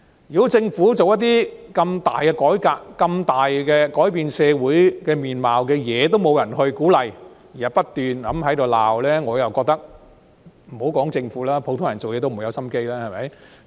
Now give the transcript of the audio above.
如果政府推行如此重大的改革、推行重大改變社會面貌的工作，也得不到鼓勵，只有不斷的批評，我認為莫說是政府，即使是普通人也提不起勁工作。